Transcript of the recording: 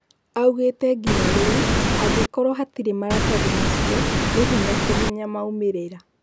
Aũgĩte nginya rĩu, angĩkorwo hatire maratathi macio, nĩ hĩnya kũmenya maumĩrĩra